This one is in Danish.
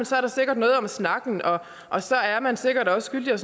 så er der sikkert noget om snakken og så er man sikkert også skyldig og